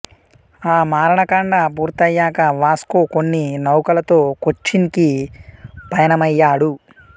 ఆ మారణకాండ పూర్తయ్యాక వాస్కో కొన్ని నౌకలతో కొచ్చిన్ కి పయనమయ్యాడు